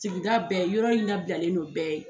Sigida bɛɛ yɔrɔ in labilalen non bɛɛ ye